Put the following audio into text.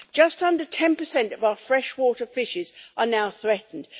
just under 10 of our freshwater fishes are now threatened